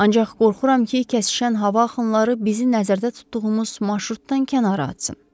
Ancaq qorxuram ki, kəsişən hava axınları bizi nəzərdə tutduğumuz marşrutdan kənara atsın.